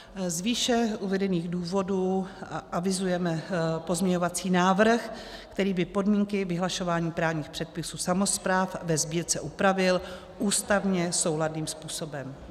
Z výše uvedených důvodů avizujeme pozměňovací návrh, který by podmínky vyhlašování právních předpisů samospráv ve sbírce upravil ústavně souladným způsobem.